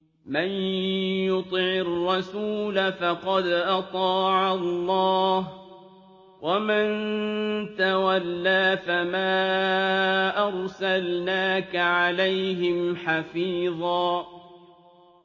مَّن يُطِعِ الرَّسُولَ فَقَدْ أَطَاعَ اللَّهَ ۖ وَمَن تَوَلَّىٰ فَمَا أَرْسَلْنَاكَ عَلَيْهِمْ حَفِيظًا